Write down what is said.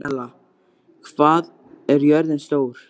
Marinella, hvað er jörðin stór?